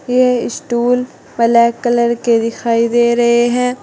ये stool black colour के दिखाई दे रहे हैं।